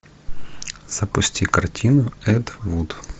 запусти картину эд вуд